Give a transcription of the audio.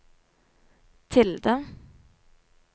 tilde